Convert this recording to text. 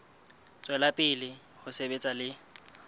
tswela pele ho sebetsa le